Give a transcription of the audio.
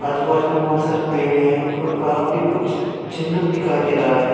आजूबाजू में बहुत सारे पेड़ है और वहा पे कुछ चिन्ह दिखाई दे रहा है।